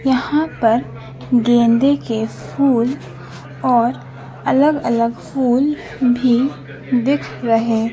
यहां पर गेंदे के फूल और अलग अलग फूल भी दिख रहे--